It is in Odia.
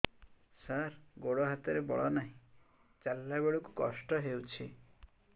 ସାର ଗୋଡୋ ହାତରେ ବଳ ନାହିଁ ଚାଲିଲା ବେଳକୁ କଷ୍ଟ ହେଉଛି